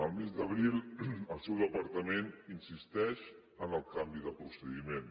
el mes d’abril el seu departament insisteix en el canvi de procediment